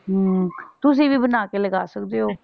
ਅਮ ਤੁਸੀਂ ਵੀ ਬਣਾ ਕੇ ਲਗਾ ਸਕਦੇ ਹੋ।